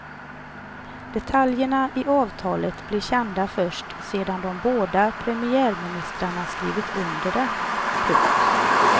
Detaljerna i avtalet blir kända först sedan de båda premiärministrarna skrivit under det. punkt